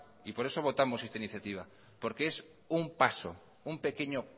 por eso votamos esta iniciativa porque es un paso un pequeño